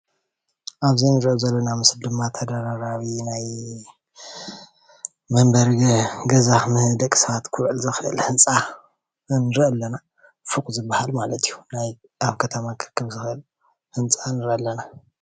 ኣብዚ እንርእዮ ዘለና ምስሊ ድማ ተደራረቢ ናይ መንበሪ ገዛ ንደቂ ሰባት ክውዕል ዝክእል ህንፃ ንርኢ ኣለና። ፎቅ ዝባሃል ማለት እዩ ናይ ኣብ ከተማ ክርከብ ዝክአል ህንፃ ንርኢ ኣለና።